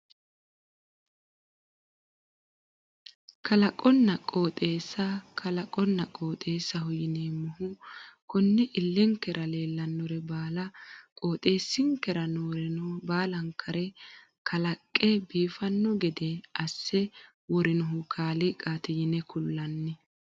Kalaqonna qooxeessa kalaqonna qooxeessaho yineemmohu konne illenkera leellannore baala qooxeessinkera nooreno baalankare kalaqe biifanno gede asse worinohu kaaliiqaati yine kullanni